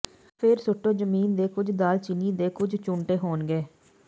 ਫੇਰ ਸੁੱਟੋ ਜ਼ਮੀਨ ਦੇ ਕੁਝ ਦਾਲਚੀਨੀ ਦੇ ਕੁੱਝ ਚੂੰਟੇ ਹੋਣਗੇ